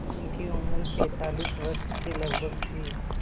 उनकी उम्र पैंतालीस वर्ष के लगभग थी